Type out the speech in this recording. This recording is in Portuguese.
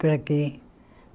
Para o quê?